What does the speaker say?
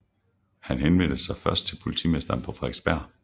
Han henvendte sig først til politimesteren på Frederiksberg